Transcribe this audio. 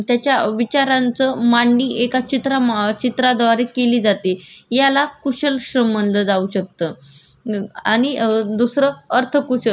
आणि दुसरं अर्धकुशल आपण गवंडी बघत असतो जे खडे फोडण्याची काम करते याला अकुशल कार्य केलं कार्य म्हणलं जातं